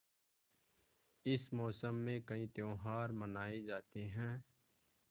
इस मौसम में कई त्यौहार मनाये जाते हैं